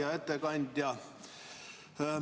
Hea ettekandja!